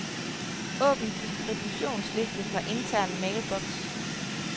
Åbn distributionsliste fra intern mailbox.